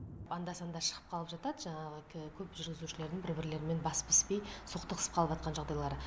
анда санда шығып қалып жатады жаңағы көп жүргізушілердің бір бірлерімен басы піспей соқтығысып қалыватқан жағдайлары